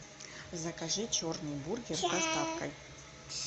закажи черный бургер с доставкой